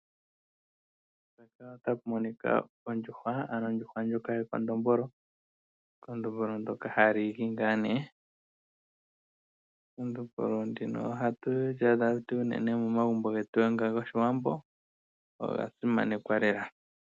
Mpaka otapu monika ondjuhwa ano ondjuhwa ndjoka yekondombolo, ekondombolo ndoka hali igi ngaa nee ekondombolo ndino ohatu lyaadha momagumbo getu nga goshiwambo oga simanekwa lela.